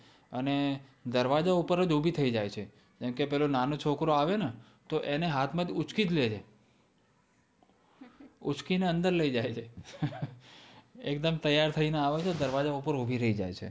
અને દરવાજા ઉપર જ ઉભી થઇ જાય છે. જેમ કે પેલો નાનો છોકરો આવેને તો એને હાથમાંથી ઊંચકી જ લે છે. ઊંચકીને અંદર લઈ જાય છે. ઊંચકીને અંદર લઈ જાય છે. એકદમ તૈયાર થઈને આવે છે. દરવાજા ઉપર ઉભી રહી જાય છે.